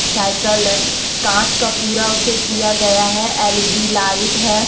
Cycle है काँच का पूरा उसे किया गया है एल_इ_डी लाइट है।